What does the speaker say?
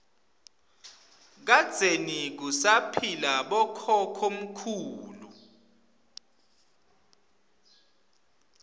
kadzeni kusaphila bokhokho mkhulu